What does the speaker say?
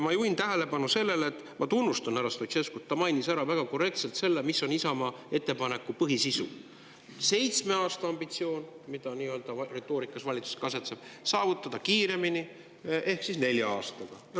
Ma juhin tähelepanu sellele, et ma tunnustan härra Stoicescut, ta mainis väga korrektselt ära selle, mis on Isamaa ettepaneku põhisisu: seitsme aasta ambitsioon, millises retoorikas asetseb ka valitsus, saavutada kiiremini ehk nelja aastaga.